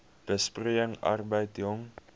besproeiing arbeid jong